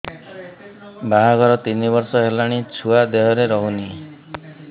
ବାହାଘର ତିନି ବର୍ଷ ହେଲାଣି ଛୁଆ ଦେହରେ ରହୁନି